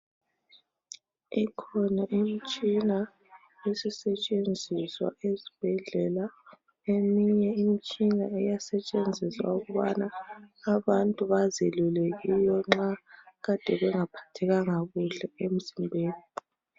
ikhona imtshina esisetshenziswa esibhedlela eminye imtshina iyasetshenziswa ukubana abantu bazelule kiyo nxa kade bengaphathekanga kuhle emzimbeni